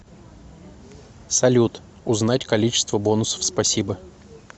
салют узнать количество бонусов спасибо